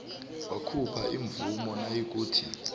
wakhupha imvumo nayikuthi